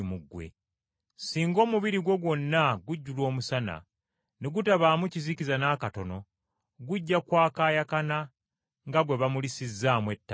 Singa omubiri gwo gwonna gujjula omusana, ne gutabaamu kizikiza n’akatono gujja kwakaayakana nga gwe bamulisizzaamu ettaala.”